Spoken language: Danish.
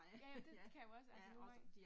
Ja, ja det kan jo også altså nogengange